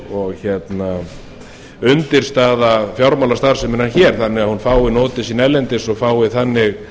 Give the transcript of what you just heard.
og undirstaða fjármálastarfseminnar hér þannig að hún fái notið sín erlendis og fái þannig